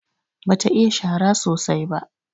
Bata iya shara sosai ba.